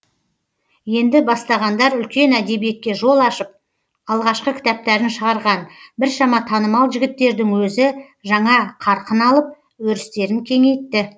енді бастағандар үлкен әдебиетке жол ашып алғашқы кітаптарын шығарған біршама танымал жігіттердің өзі жаңа қарқын алып өрістерін кеңейтті